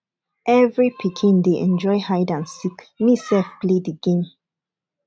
every pikin dey enjoy hide and seek me sef play the game